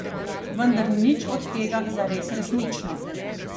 Vendar ni nič od tega zares resnično.